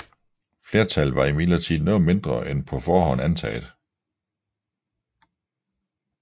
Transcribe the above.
Flertallet var imidlertid noget mindre end på forhånd antaget